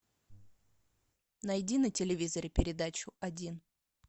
найди на телевизоре передачу один